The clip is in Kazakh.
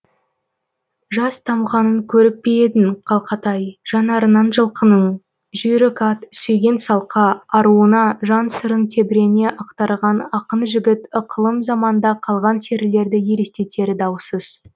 жас тамғанын көріп пе едің қалқатай жанарынан жылқының жүйрік ат сүйген салқа аруына жан сырын тебірене ақтарған ақын жігіт ықылым заманда қалған серілерді елестетері даусыз